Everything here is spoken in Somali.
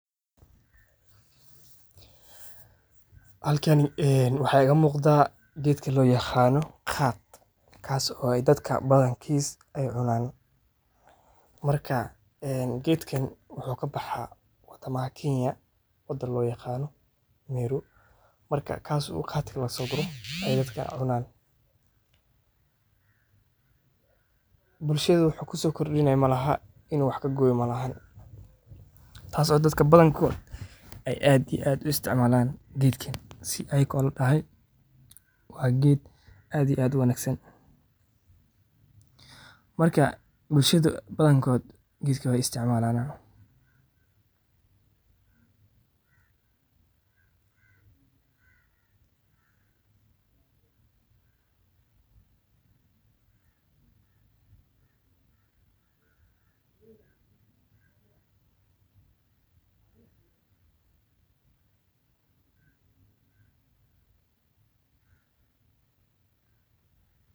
Halkani waxa igamuqda gedka loyaqano khat kaso dadka badaan eey cunan marka gedkan wuxu kabaxa wadamaha Kenya wadan loyaqano Meru marka kaas oo lagasoguro khat ey dadka cunan. Bulshada wuxu kusokordinayo malahan in u wax kagoyo moye taso ey dadka badankod ey aad iyo aad uisticmalan gedkan sidi ayagoo ladahan wa ged aad uwangsan marka bulshada badankod gedkan wey isticmalan.